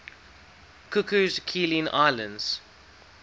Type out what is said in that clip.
cocos keeling islands